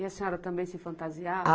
E a senhora também se fantasiava?